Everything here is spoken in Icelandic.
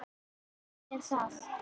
Hvenær átti ég að gera það?